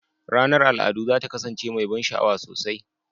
Ranar al'adu za ta kasance mai ban sha'awa sosai.